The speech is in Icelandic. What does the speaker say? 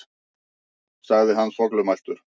sagði hann þvoglumæltur.